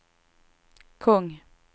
kung